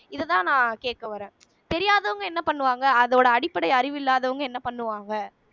இதுதான் நான் கேட்க வரேன் தெரியாதவங்க என்ன பண்ணுவாங்க அதோட அடிப்படை அறிவு இல்லாதவங்க என்ன பண்ணுவாங்க